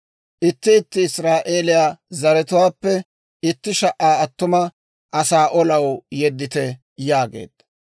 Itti itti Israa'eeliyaa zaratuwaappe itti sha"a attuma asaa olaw yeddite» yaageedda.